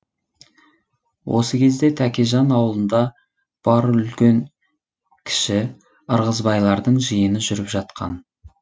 осы кезде тәкежан аулында бар үлкен кіші ырғызбайлардың жиыны жүріп жатқан